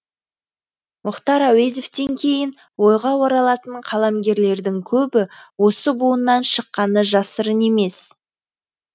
мұхтар әуезовтен кейін ойға оралатын қаламгерлердің көбі осы буыннан шыққаны жасырын емес